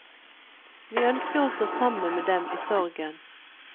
Vi ønsker å stå sammen med dem i sorgen.